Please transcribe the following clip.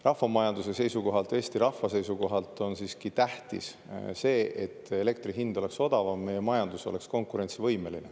Rahvamajanduse seisukohalt, Eesti rahva seisukohalt on siiski tähtis see, et elektri hind oleks odavam, et meie majandus oleks konkurentsivõimeline.